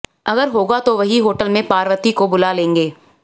अगर होगा तो वहीं होटल में पार्वती को बुला लेंगे